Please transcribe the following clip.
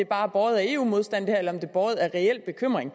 bare er båret af eu modstand eller om det er båret af en reel bekymring